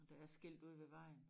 Der er skilt ude ved vejen